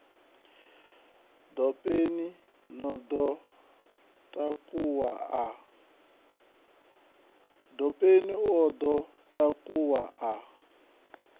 dopeni o ḓo takuwa a